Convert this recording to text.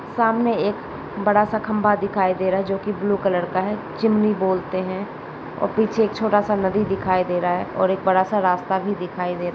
सामने एक बड़ा सा खंभा दिखाई दे रहा है जो कि ब्लू कलर का है चिमनी बोलते है और पीछे एक छोटा सा नदी दिखाई दे रहा है और एक बड़ा सा रास्ता भी दिखाई दे र --